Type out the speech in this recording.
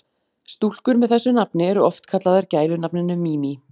Stúlkur með þessu nafni eru oft kallaðar gælunafninu Mimi.